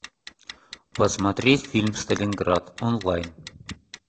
посмотреть фильм сталинград онлайн